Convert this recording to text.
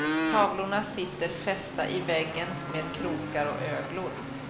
Tavlorna sitter fästa i väggen med krokar och öglor.